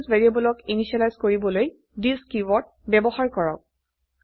instance ভ্যাৰিয়েবলক initialise কৰিবলৈ this keyword ব্যবহাৰ কৰক